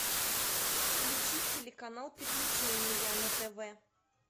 включи телеканал приключения на тв